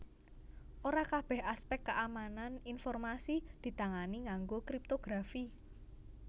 Ora kabèh aspèk kaamanan informasi ditangani nganggo kriptografi